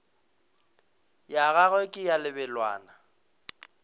ya gagwe ke ya lebelwana